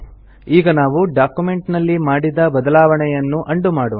ಈಗ ನಾವು ಡಾಕ್ಯುಮೆಂಟ್ ನಲ್ಲಿ ಮಾಡಿದ ಬದಲಾವಣೆಯನ್ನು ಉಂಡೋ ಮಾಡೋಣ